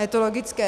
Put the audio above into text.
Je to logické.